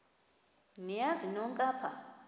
niyazi nonk apha